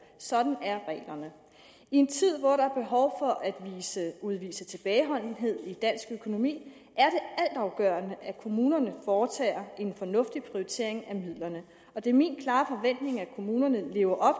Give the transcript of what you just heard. sådan er reglerne i en tid hvor der er behov for at udvise tilbageholdenhed i dansk økonomi er det altafgørende at kommunerne foretager en fornuftig prioritering af midlerne det er min klare forventning at kommunerne lever op